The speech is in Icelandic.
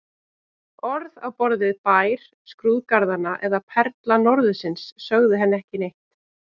Orð á borð við Bær skrúðgarðanna eða Perla norðursins sögðu henni ekki neitt.